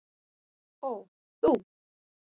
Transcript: Ó- þú.